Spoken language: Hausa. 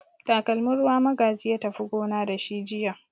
Takalmin ruwa Magaji ya tafi gona da shi jiya.